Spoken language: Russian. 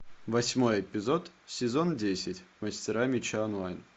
восьмой эпизод сезон десять мастера меча онлайн